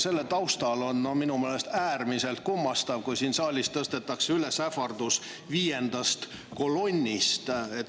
Selle taustal on minu meelest äärmiselt kummastav, kui siin saalis esitatakse ähvardust viiendast kolonnist.